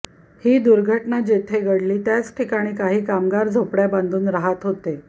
ही दुर्घटना जेथे घडली त्याच ठिकाणी काही कामगार झोपड्या बांधून राहत होते